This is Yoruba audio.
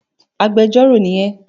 Agbẹjọ́rò ni ẹ!